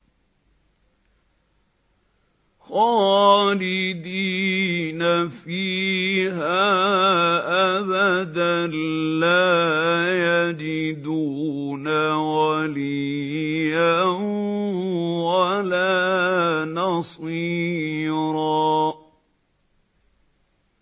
خَالِدِينَ فِيهَا أَبَدًا ۖ لَّا يَجِدُونَ وَلِيًّا وَلَا نَصِيرًا